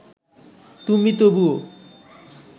তুমি তবুও